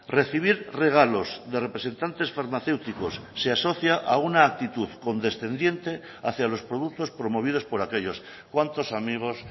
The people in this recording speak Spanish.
recibir regalos de representantes farmacéuticos se asocia a una actitud condescendiente hacia los productos promovidos por aquellos cuántos amigos